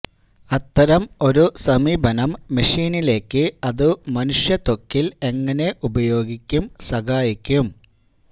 അത്തരം ഒരു സമീപനം മെഷീനിലേക്ക് അതു മനുഷ്യ ത്വക്കിൽ എങ്ങനെ ഉപയോഗിക്കും സഹായിക്കും